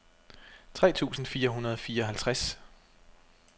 tre tusind fire hundrede og fireoghalvtreds